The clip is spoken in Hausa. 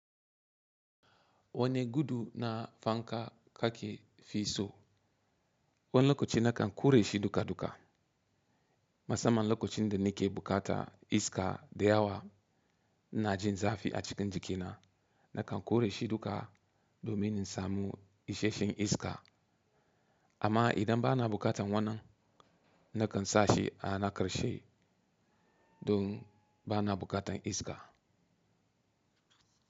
Wane gudu na fanka kaki fi so? Wani lokaci na kan ƙure shi duka-duka. Mu samman lokacin da nike bukata iska da yawa ina jin zafi a cikin jikina, na kan ƙure shi duka domin in samu isasshen iska. Amma idan bana buƙatar wannan, na kan sashi a na ƙarshe, dun bana buƙatan iska.